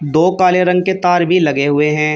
दो काले रंग के तार भी लगे हुए हैं।